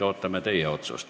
Ootame nüüd teie otsust.